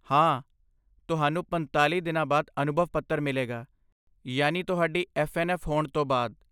ਹਾਂ, ਤੁਹਾਨੂੰ ਪੰਤਾਲ਼ੀ ਦਿਨਾਂ ਬਾਅਦ ਅਨੁਭਵ ਪੱਤਰ ਮਿਲੇਗਾ, ਯਾਨੀ ਤੁਹਾਡੀ ਐੱਫ਼ਐੱਨਐੱਫ਼ ਹੋਣ ਤੋਂ ਬਾਅਦ